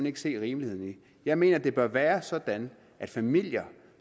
ikke se rimeligheden i jeg mener det bør være sådan at familier